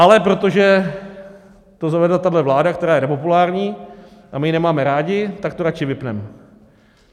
Ale protože to zavedla tahle vláda, která je nepopulární a my ji nemáme rádi, tak to radši vypneme.